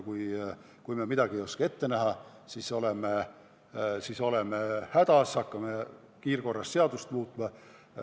Kui me pole osanud mõnd sündmust ette näha, siis oleme hädas, hakkame kiirkorras seadust muutma.